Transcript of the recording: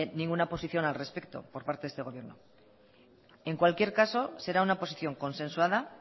ninguna posición al respecto por parte de este gobierno en cualquier caso será una posición consensuada